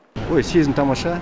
ой сезім тамаша